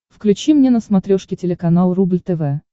включи мне на смотрешке телеканал рубль тв